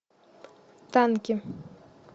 танки